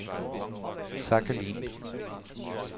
Sakhalin